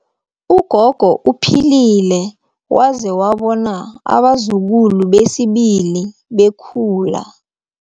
Ugogo uphilile waze wabona abazukulu besibili bekhula.